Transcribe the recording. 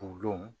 O don